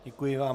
Děkuji vám.